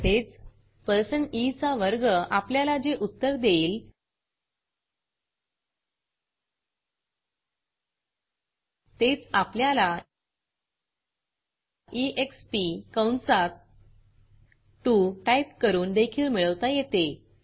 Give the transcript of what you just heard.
तसेच 160 ई चा वर्ग आपल्याला जे उत्तर देईल तेच आपल्याला एक्स्प कंसात 2 टाईप करून देखील मिळवता येते